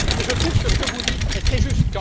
Je trouve que ce que vous dites est très juste.